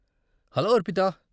Hello Arpita.